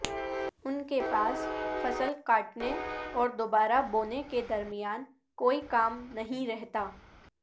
ان کے پاس فصل کاٹنے اور دوبارہ بونے کے درمیان کوئی کام نہیں رہتا